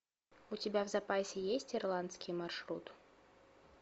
у тебя в запасе есть ирландский маршрут